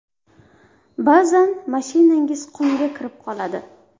Ba’zan mashinangiz qumga kirib qoladi.